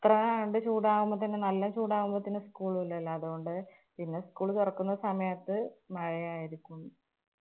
അത്ര കണ്ട് ചൂടാവുമ്പോത്തേനും നല്ല ചൂടാവുമ്പോത്തേനും school ഇല്ലല്ലോ. അതുകൊണ്ട് പിന്നെ school തുറക്കുന്ന സമയത്ത് മഴയായിരിക്കും.